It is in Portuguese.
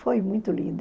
Foi muito lindo.